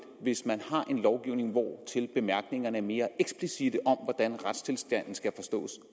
hvis man har en lovgivning hvortil bemærkningerne er mere eksplicitte om hvordan retstilstanden skal forstås